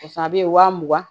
Pasa a bɛ wa mugan